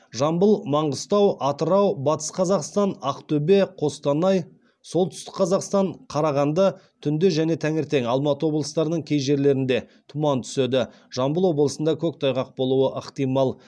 жамбыл маңғыстау атырау батыс қазақстан ақтөбе қостанай солтүстік қазақстан қарағанды түнде және таңертең алматы облыстарының кей жерлерінде тұман түседі жамбыл облысында көктайғақ болуы ықтимал